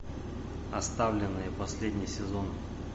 оставленные последний сезон